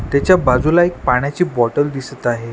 त्याच्या बाजूला एक पाण्याची बॉटल दिसत आहे.